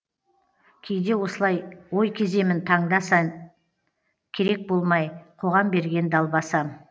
кейде осылай ой кеземін таңда сан керек болмай қоғам берген далбасам